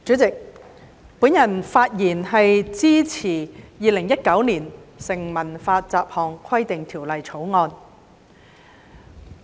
主席，我發言支持《2019年成文法條例草案》。